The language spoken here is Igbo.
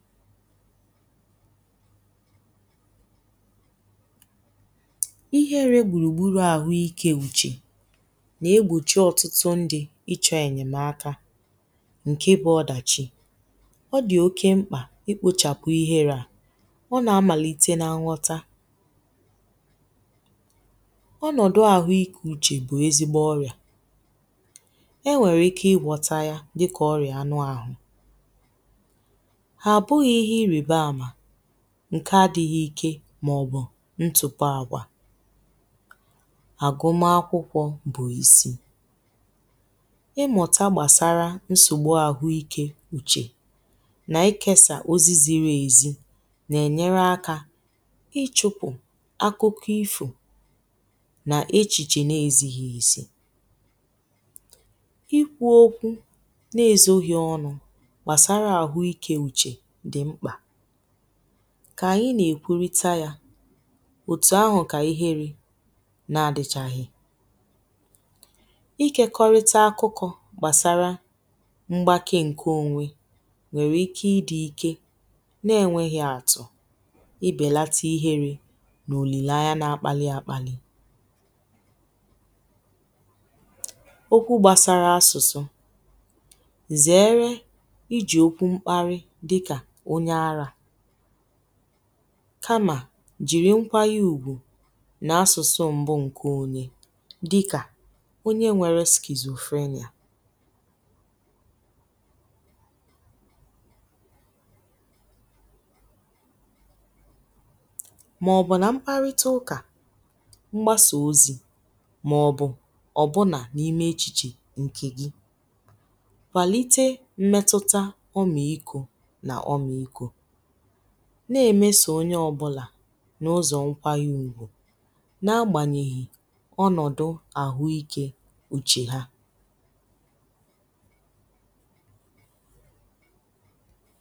ihere gbùrùgburù ahụ ikė uchè nà-egbòchi ọ̀tụtụ ndi̇ ịchọ̇ ènyèmaka ǹke bụ ọdàchi ọ dì oke mkpà ikpochàpụ ihėrė à ọ nà-amàlìte n’nwọtȧ onudu ahu ike uche bu ezigbo oria ewere ike igwota ya dika oria anu ahu ha bughi ihe iribamma ǹkè adị̀ghị̀ ike màọ̀bụ̀ ntụpọ̀ àgwà àgụma akwụkwọ bụ̀ isi ịmụ̀tà gbàsara nsògbu àhụ ikė uchè nà ikėsà ozi ziri èzi nà-ènyere akȧ ichụpụ̀ akụkụ ifo nà echìchè nà ezighi̇ izi ikwu̇ okwu̇ n’ezoghi̇ ọnụ̇ gbasara ahu ike uche di mkpa kà ànyị nà-èkwurịta yȧ òtù ahụ̀ kà ihe ri̇ nà-adị̀chàghị̀ ikekọrịta akụkọ̇ gbàsara mgbake ǹke onwe nwèrè ike ịdị̇ ike na-enwėghi̇ àtụ̀ ịbèlata ihere nà òlìlà anya na-akpali àkpali okwu gbàsara asụ̀sụ zèere iji̇ okwu mkparị̇ dika onye ara kàmà jìri nkwayi ùgwù n’asụ̀sụ mbụ ǹkè onyè dị̀kà onye nwėrė skìzufenia màọ̀bụ̀ nà mkparịta ụkà mgbasà ozì màọ̀bụ̀ ọ̀bụnà n’ime echìchè ǹkè gị kwalite mmetuta ómikó na ómikó na-emesà onye ọbụlà n’ụzọ nkwa yȧ ugbȯ na-agbanyeghì ọnọdụ̀ ahụikė uche ha